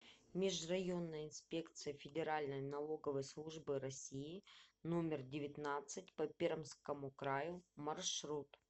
межрайонная инспекция федеральной налоговой службы россии номер девятнадцать по пермскому краю маршрут